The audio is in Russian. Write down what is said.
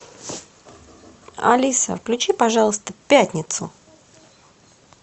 алиса включи пожалуйста пятницу